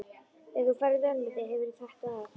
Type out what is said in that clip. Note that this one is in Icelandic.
Ef þú ferð vel með þig hefurðu þetta af.